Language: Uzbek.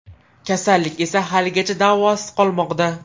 Kasallik esa haligacha davosiz qolmoqda.